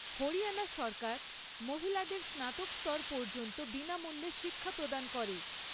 হরিয়ানা সরকার মহিলাদের স্নাতক স্তর পর্যন্ত বিনামূল্যে শিক্ষা প্রদান করে।